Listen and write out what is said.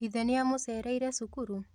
Ithe nĩamũcereire cukuru?